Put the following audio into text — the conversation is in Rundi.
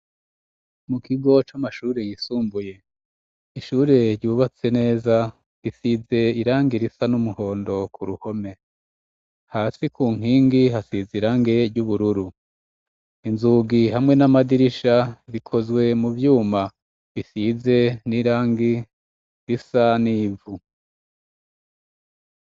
mu kigo c'amashuri yisumbuye ishure ryubatse neza risize irangi risa n'umuhondo ku ruhome hafi ku nkingi hasize irange ry'ubururu inzugi hamwe n'amadirisha rikozwe mu byuma bisize n'irangi risa n'ivu